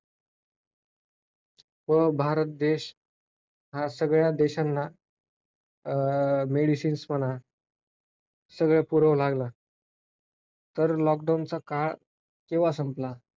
त्या ते वायू हवेत सोडल्या गेल्यामुळे ते पृथ विज वर येणारी जी सूर्यकिरणे आहेत ते सूर्यकिरणे पृथ्वीवरच आव आडवून ठेवण्यास त्यांच त्यांचे ते वायू कारणीभूत असतात.